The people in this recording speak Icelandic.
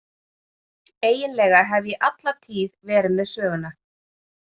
Eiginlega hef ég alla tíð verið með Söguna.